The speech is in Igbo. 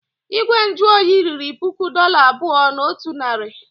Igwe nju oyi riri puku dollar abụọ na otu narị.